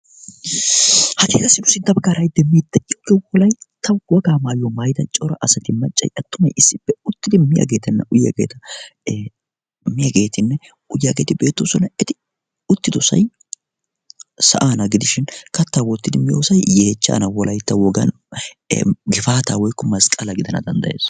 ha tii kassinu sinttaba gaaraiddi mii xe iugge wolai ta wogaa maayuyo maida cora asati maccai attumai issippe uttidi miyaageetanna uyageta miyaageetinne uyyaageeti beettoo sonna eti uttidosai sa7aana gidishin kattaa woottidi miyoosai yeechchana wolai ta wogan gifaataa woikku masqqala gidana danddayees.